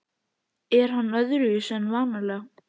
Er hann öðruvísi en vanalega?